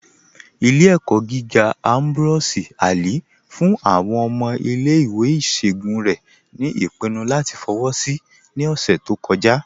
Ìlẹ̀-ẹ̀kọ gígà Ambrose Ali fún àwọn ọmọ ìlẹ̀-ìwé ìṣọogun rẹ̀ ni ipinnú latí fọwọ́ sí ní ọṣẹ̀ tó kọ̀jà.